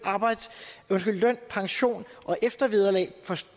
pension og eftervederlag